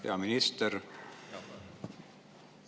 Hea minister!